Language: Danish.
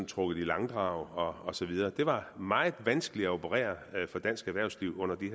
trukket i langdrag og og så videre det var meget vanskeligt at operere for dansk erhvervsliv under de